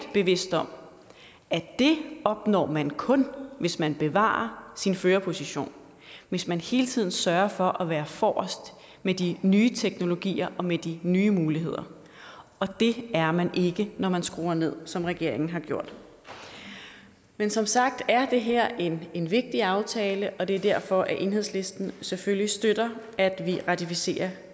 bevidst om at det opnår man kun hvis man bevarer sin førerposition hvis man hele tiden sørger for at være forrest med de nye teknologier og med de nye muligheder og det er man ikke når man skruer ned som regeringen har gjort men som sagt er det her en en vigtig aftale og det er derfor enhedslisten selvfølgelig støtter at vi ratificerer